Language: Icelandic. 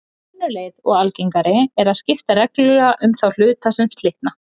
önnur leið og algengari er að skipta reglulega um þá hluta sem slitna